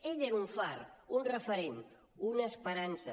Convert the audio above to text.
ell era un far un referent una esperança